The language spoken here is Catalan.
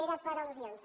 era per al·lusions